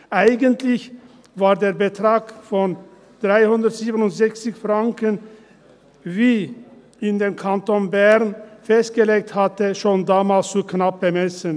Eigentlich war der Betrag von 367 Franken, wie ihn der Kanton Bern festgelegt hatte, schon damals zu knapp bemessen.